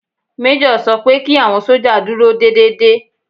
Méjọ̀ sọ pé kí àwọn sójà dúró déédédé